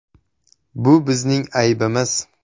Bu bizning aybimiz.